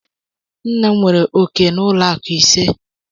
Nna m nwere ọ̀kè na ụlọ akụ ise.